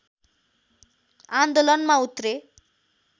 आन्दोलनमा उत्रे